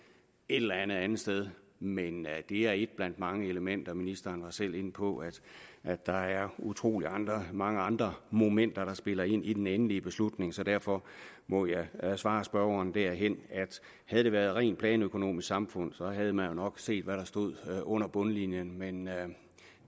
et eller andet andet sted men det er et blandt mange elementer ministeren var selv inde på at der er utrolig mange andre momenter der spiller ind i den endelige beslutning så derfor må jeg svare spørgeren derhen at havde det været et rent planøkonomisk samfund havde man jo nok set hvad der stod under bundlinjen men